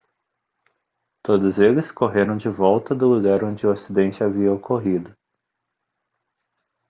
todos eles correram de volta do lugar onde o acidente havia ocorrido